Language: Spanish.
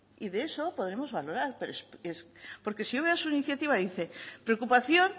y de eso podremos valorar porque si yo veo su iniciativa dice preocupación